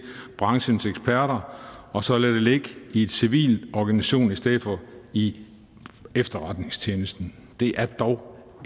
branchens eksperter og så lade det ligge i en civil organisation i stedet for i efterretningstjenesten det er dog